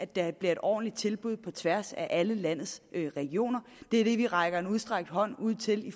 der bliver et ordentligt tilbud på tværs af alle landets regioner det er det vi rækker en udstrakt hånd ud til i